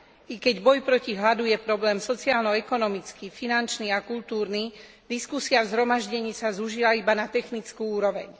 I keď boj proti hladu je problém sociálno ekonomický, finančný a kultúrny, diskusia v zhromaždení sa zúžila iba na technickú úroveň.